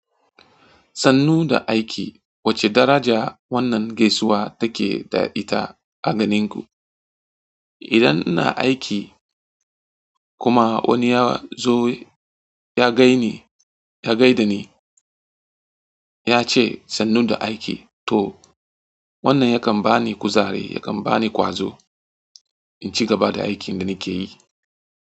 Sannu da aiki, wace daraja wannan gaisuwa take da ita a ganinku? Idan ina aiki kuma wani ya zo ya gai ni, ya gaida ni, ya ce sannu da aiki to wannan yakan bani kuzari, yakan bani ƙwazo in ci gaba da aikin da nake yi.